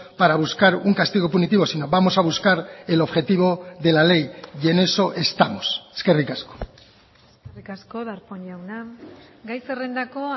para buscar un castigo punitivo sino vamos a buscar el objetivo de la ley y en eso estamos eskerrik asko eskerrik asko darpón jauna gai zerrendako